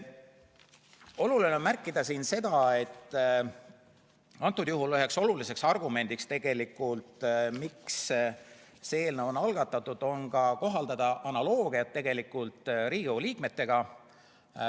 Oluline on märkida, et antud juhul on üheks oluliseks eesmärgiks, miks see eelnõu algatati, kohaldada analoogiat Riigikogu liikmetega.